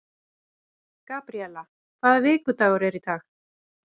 Gabríela, hvaða vikudagur er í dag?